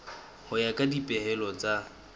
ho ya ka dipehelo tsa